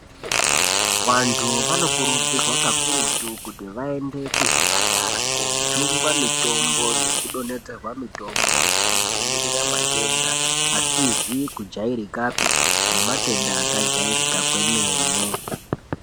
Vantu vanokurudzirwa kakurutu kuti vaende kuzvipatara koojungwa mitombo nekudonhedzerwa mitombo yekudzivirira matenda asizi kujairikapi nematenda akajairika kwemene.